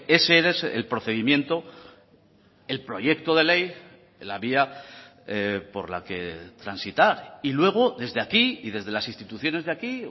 ese es el procedimiento el proyecto de ley la vía por la que transitar y luego desde aquí y desde las instituciones de aquí